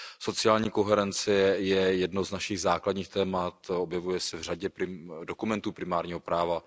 Sociální koherence je jedno z našich základních témat, objevuje se v řadě dokumentů primárního práva.